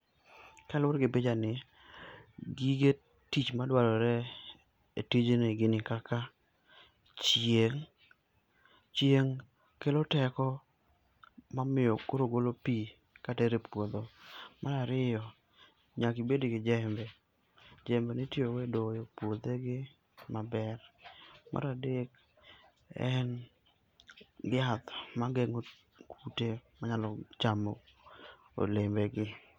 Kaluwore gi picha ni, gige tich ma dwarore e tijni gin kaka chieng'. Chieng' kelo teko mamiyo koro golo pi katero e pudho. Mar ariyo, nyaka ibed gi jembe, jembe mitiyo go e doyo puothe gi maber. Mar adek en yath ma geng'o kute ma nyalo chamo olembe gi.